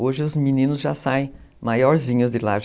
Hoje os meninos já saem maiorzinhos de lá.